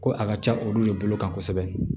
Ko a ka ca olu de bolo kan kosɛbɛ